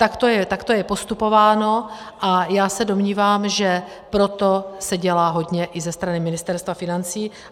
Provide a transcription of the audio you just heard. Takto je postupováno a já se domnívám, že pro to se dělá hodně i ze strany Ministerstva financí.